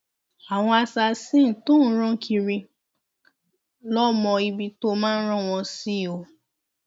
àwọn assasin tóò ń rán kiri lọọ mọ ibi tóo máa rán wọn sí ọ